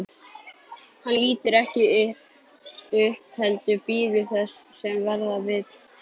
Hann lítur ekki upp heldur bíður þess sem verða vill.